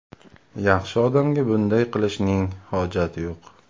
Yaxshi odamga bunday qilishning hojati yo‘q.